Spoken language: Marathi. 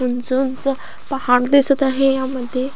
उंच उंच पहाग दिसत आहे यामध्ये --